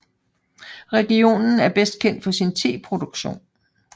Regionen er bedst kendt for sin teproduktion